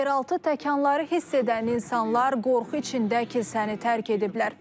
Yeraltı təkanları hiss edən insanlar qorxu içində kilsəni tərk ediblər.